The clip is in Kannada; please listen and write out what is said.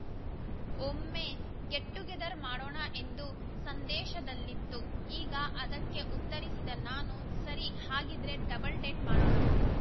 ಒಮ್ಮೆ ಗೆಟ್‌ಟುಗೆದರ್‌ ಮಾಡೋಣ ಎಂದು ಸಂದೇಶದಲ್ಲಿತ್ತು ಆಗ ಅದಕ್ಕೆ ಉತ್ತರಿಸಿದ ನಾನು ಸರಿ ಹಾಗಿದ್ರೆ ಡಬಲ್‌ ಡೇಟ್‌ ಮಾಡೋಣ